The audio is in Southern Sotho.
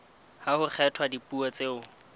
ha ho kgethwa dipuo tseo